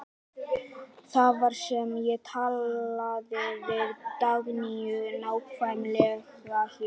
Það var hér sem ég talaði við Dagnýju, nákvæmlega hér.